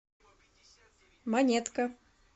монетка